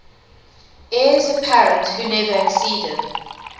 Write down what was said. heirs apparent who never acceded